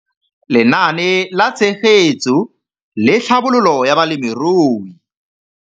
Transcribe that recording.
Lenaane la Tshegetso le Tlhabololo ya Balemirui.